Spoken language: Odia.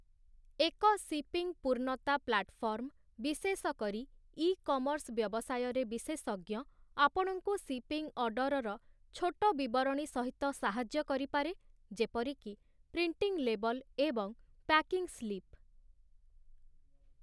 ଏକ ସିପିଂ ପୂର୍ଣ୍ଣତା ପ୍ଲାଟଫର୍ମ, ବିଶେଷକରି ଇକମର୍ସ ବ୍ୟବସାୟରେ ବିଶେଷଜ୍ଞ, ଆପଣଙ୍କୁ ସିପିଂ ଅର୍ଡ଼ରର ଛୋଟ ବିବରଣୀସହିତ ସାହାଯ୍ୟ କରିପାରେ, ଯେପରିକି ପ୍ରିଣ୍ଟିଂ ଲେବଲ୍ ଏବଂ ପ୍ୟାକିଂ ସ୍ଲିପ୍ ।